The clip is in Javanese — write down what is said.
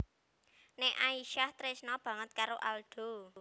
Nek Aisyah tresna banget karo Aldo